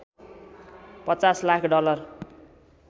५० lakh dollar